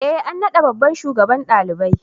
E an naɗa babban shugaban ɗalibai.